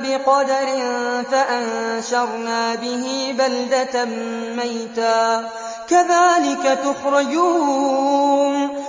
بِقَدَرٍ فَأَنشَرْنَا بِهِ بَلْدَةً مَّيْتًا ۚ كَذَٰلِكَ تُخْرَجُونَ